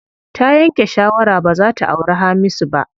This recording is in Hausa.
Ta yanke shawara baza ta auri Hamisu ba.